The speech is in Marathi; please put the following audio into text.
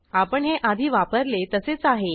आपण हे आधी वापरले तसेच आहे